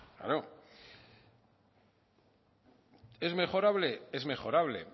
claro es mejorable es mejorable